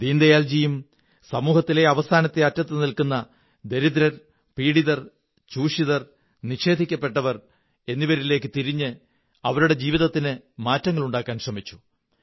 ദീനദയാല്ജിറ സമൂഹത്തിലെ അവസാന അറ്റത്തിരിക്കുന്ന ദരിദ്രൻ പീഡിതൻ ചൂഷിതൻ നിഷേധിക്കപ്പെട്ടവർ എന്നിവരിലേക്കു തിരിഞ്ഞ് അവരുടെ ജീവിതത്തിന് മാറ്റങ്ങളുണ്ടാക്കാൻ ശ്രമിച്ചു